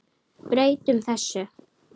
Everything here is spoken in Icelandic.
Breytum þessu!